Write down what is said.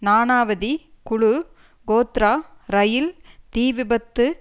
நானவதி குழு கோத்ரா ரயில் தீவிபத்து